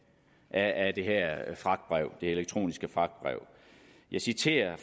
af af det her elektroniske fragtbrev jeg citerer